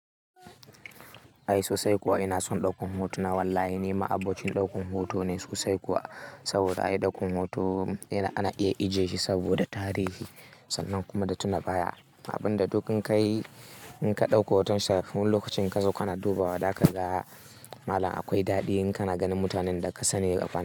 Ai sosai kuwa ina son ɗaukan hotuna wallahi ni ma abocin ɗaukan hoto ne sosai kuwa. Saboda ayi ɗaukan hoto yana, ana iya ajiye shi saboda tarihi sannan kuma da tunabaya. Abin da duk in ka yi, in ka ɗauko hoton sa, wani lokacin inka zo kana dubawa, za ka ga malam akwai daɗi in kana ganin mutanen da ka sani gaba na.